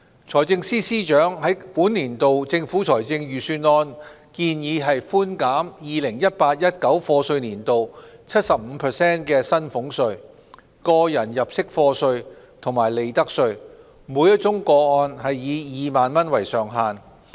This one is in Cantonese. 財政司司長在本年度政府財政預算案建議寬減 2018-2019 課稅年度 75% 的薪俸稅、個人入息課稅及利得稅，每宗個案以2萬元為上限。